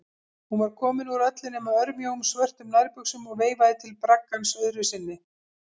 Hún var komin úr öllu nema örmjóum, svörtum nærbuxum og veifaði til braggans öðru sinni.